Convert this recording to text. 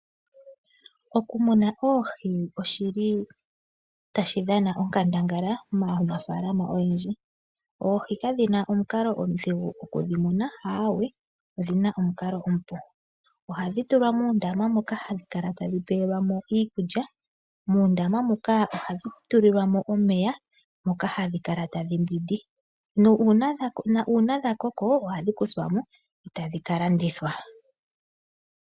Okumuna oohi oshili tashi dhana onkandangala maanafaalama oyendji. Oohi kadhi na omukalo omudhigu okudhi muna aawe, odhina omukalo omupu. Ohadhi tulwa muundama moka hadhi kala tadhi pewelwa mo iikulya. Muundama moka ohadhi tulilwa mo omeya moka hadhi kala tadhi mbwindi, nuuna dhakoko ohadhi kuthwa mo e tadhi kalandithwa.